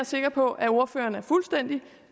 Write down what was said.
sikker på at ordføreren er fuldstændig